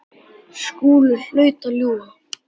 Skúli hlaut að ljúga.